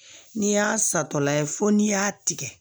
N'i y'a satɔla fo n'i y'a tigɛ